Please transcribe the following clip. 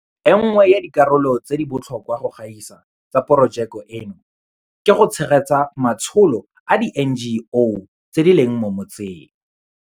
E nngwe ya dikarolo tse di botlhokwa go gaisa tsa porojeke eno ke go tshegetsa matsholo a di-NGO tse di leng mo metseng.